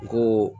Ko